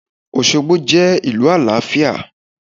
Osogbo je ìlú àlàáfíà